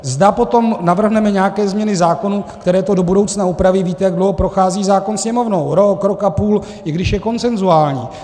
Zda potom navrhneme nějaké změny zákonů, které to do budoucna upraví, víte, jak dlouho prochází zákon Sněmovnou, rok, rok a půl, i když je konsenzuální.